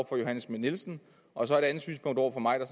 fru johanne schmidt nielsen og så et andet synspunkt over for mig der